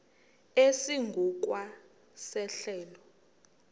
esingu kwa sehlelo